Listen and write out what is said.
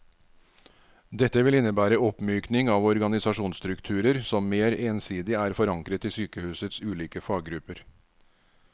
Dette vil innebære oppmykning av organisasjonsstrukturer som mer ensidig er forankret i sykehusets ulike faggrupper.